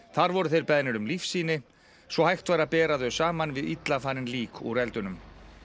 þar voru þeir beðnir um svo hægt væri að bera þau saman við illa farin lík úr eldunum